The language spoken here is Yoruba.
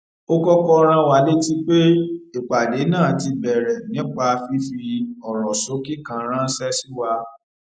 ó kókó rán wa létí pé ìpàdé náà ti bèrè nípa fífi òrò ṣókí kan ránṣé sí wa